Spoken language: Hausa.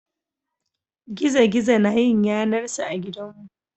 Gizo-gizo na yin yanar sa a gidanmu.